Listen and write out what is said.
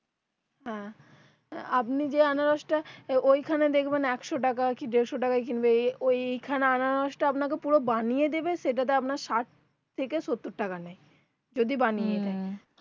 আপনি যে আনারসটা তো ওইখানে দেখবেন একশো টাকা কি দেড়শো টাকা কিলো খানে আনারসটা পুরো বানিয়ে দেবে সেটা আপনার থেকে সত্তর টাকা নেয় যদি বানিয়ে দেয়